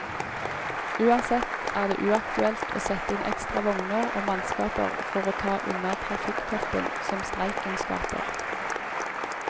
Uansett er det uaktuelt å sette inn ekstra vogner og mannskaper for å ta unna trafikktoppen som streiken skaper.